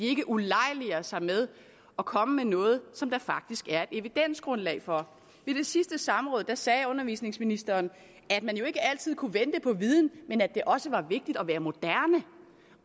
ikke ulejliger sig med at komme med noget som der faktisk er evidensgrundlag for ved det sidste samråd sagde undervisningsministeren at man jo ikke altid kunne vente på viden men at det også var vigtigt at være moderne